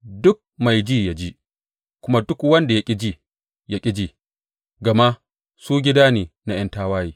Duk mai ji ya ji, kuma duk wanda ya ƙi ji, ya ƙi ji; gama su gida ne na ’yan tawaye.